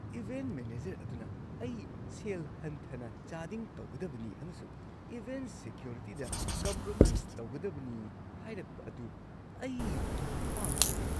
Event manager ꯑꯗꯨꯅ ꯑꯩ ꯁꯦꯜ ꯍꯟꯊꯅ ꯆꯥꯗꯤꯡ ꯇꯧꯒꯗꯕꯅꯤ ꯑꯃꯁꯨꯡ ꯏꯚꯦꯟꯠ ꯁꯦꯀ꯭ꯌꯣꯔꯤꯇꯤꯗ ꯀꯝꯄ꯭ꯔꯣꯃꯥꯏꯁ ꯇꯧꯒꯗꯕꯅꯤ ꯍꯥꯏꯔꯛꯄ ꯑꯗꯨ ꯑꯩꯅ ꯄꯥꯝꯈꯤꯗꯦ ꯫